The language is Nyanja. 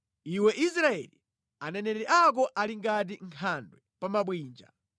Iwe Israeli, aneneri ako ali ngati nkhandwe pa mabwinja.